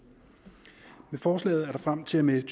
med forslaget er der frem til og med